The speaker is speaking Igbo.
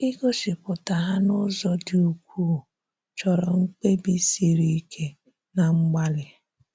Igosipụta ha n’ụzọ dị ukwuu, chọrọ mkpebi siri ike na mgbalị.